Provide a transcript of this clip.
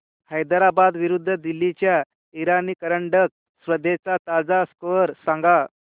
हैदराबाद विरुद्ध दिल्ली च्या इराणी करंडक स्पर्धेचा ताजा स्कोअर सांगा